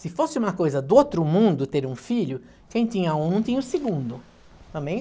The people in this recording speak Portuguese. Se fosse uma coisa do outro mundo ter um filho, quem tinha um não tinha o segundo. Também,